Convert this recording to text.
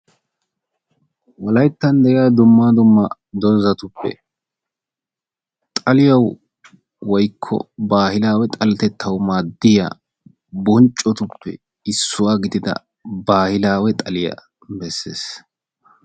Wolayttan de'iyaa dumma dumma doozatuppe xaliyawi woykko baahilawe xaletettawu maaddiyaa bonccotuppe issuwaa gidida baahilawe xaaliyaa bessees.